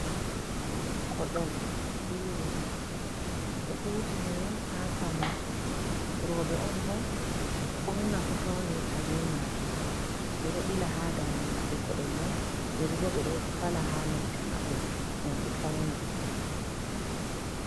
Koɗol bee yeri, ɗo huutinire haa pawnuki, rooɓe on bo ɓurna fuuh naftirta be maajum, ɓe ɗo ɓila haa daande maɓɓe koɗol may. Yeri bo ɓe ɗo fala haa noppi maɓɓe ngam ɓe fawna.